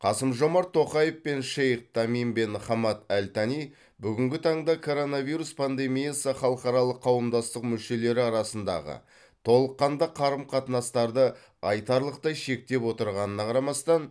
қасым жомарт тоқаев пен шейх тамим бен хамад әл тани бүгінгі таңда коронавирус пандемиясы халықаралық қауымдастық мүшелері арасындағы толыққанды қарым қатынастарды айтарлықтай шектеп отырғанына қарамастан